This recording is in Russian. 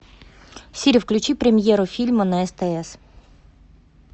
сири включи премьеру фильма на стс